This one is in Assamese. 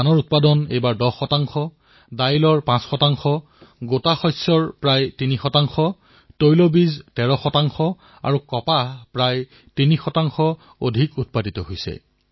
ধান এইবাৰ প্ৰায় ১০ শতাংশ দাইল প্ৰায় ৫ শতাংশ গোটা শস্য প্ৰায় ৩ শতাংশ তৈলবীজ প্ৰায় ১৩ শতাংশ কপাহ প্ৰায় ৩ শতাংশ ৰোপণ কৰা হৈছে